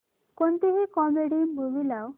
कोणतीही comedy movie लाव